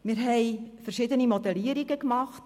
Wir haben verschiedene Modellierungen gemacht.